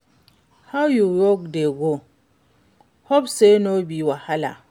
How your work dey go? Hope say no be wahala?